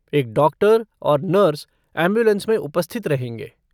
एक डॉक्टर और nurse ambulance में उपस्थित रहेंगे।